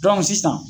sisan